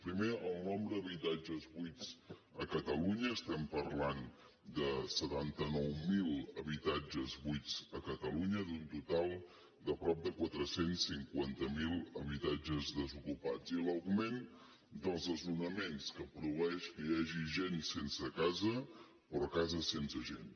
primer el nombre d’habitatges buits a catalunya parlem de setanta nou mil habitatges buits a catalunya d’un total de prop de quatre cents i cinquanta miler habitatges desocupats i l’augment dels desnonaments que produeix que hi hagi gent sense casa però cases sense gent